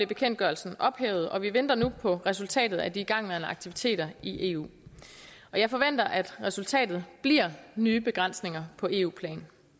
bekendtgørelsen ophævet og vi venter nu på resultatet af de igangværende aktiviteter i eu jeg forventer at resultatet bliver nye begrænsninger på eu plan